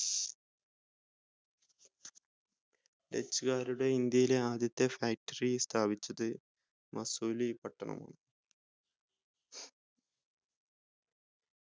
dutch കാരുടെ ഇന്ത്യയിലെ ആദ്യത്തെ factory സ്ഥാപിച്ചത് മസൂലിപ്പട്ടണമാണ്